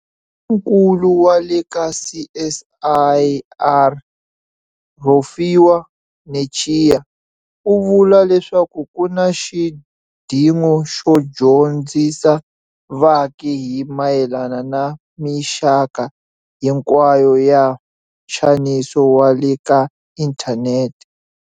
Nkulu wa le ka CSIR Rofhiwa Netshiya u vula leswaku ku na xidingo xo dyo ndzisa vaaki hi mayelana na mixaka hinkwayo ya nxaniso wa le ka inthanete.